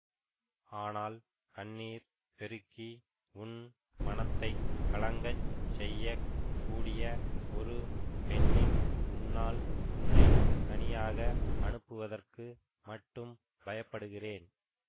ஆனால் கண்ணீர் பெருக்கி உன் மனத்தை கலங்க செய்ய கூடிய ஒரு பெண்ணின் முன்னால் உன்னை தனியாக அனுப்புவதற்கு மட்டும் பயப்படுகிறேன்